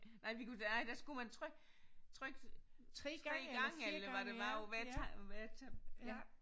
Nej vi kunne da nej der skulle man trykke trykke 3 gange eller hvad det var på hvert tegn på hvert ja